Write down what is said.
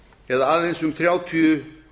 eða aðeins um þrjátíu